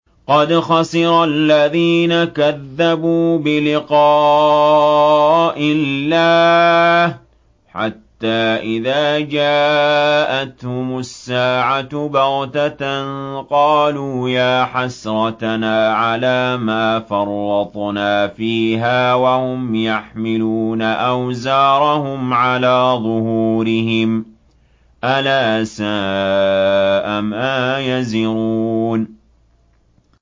قَدْ خَسِرَ الَّذِينَ كَذَّبُوا بِلِقَاءِ اللَّهِ ۖ حَتَّىٰ إِذَا جَاءَتْهُمُ السَّاعَةُ بَغْتَةً قَالُوا يَا حَسْرَتَنَا عَلَىٰ مَا فَرَّطْنَا فِيهَا وَهُمْ يَحْمِلُونَ أَوْزَارَهُمْ عَلَىٰ ظُهُورِهِمْ ۚ أَلَا سَاءَ مَا يَزِرُونَ